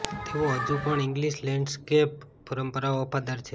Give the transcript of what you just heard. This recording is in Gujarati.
તેઓ હજુ પણ ઇંગલિશ લેન્ડસ્કેપ પરંપરાઓ વફાદાર છે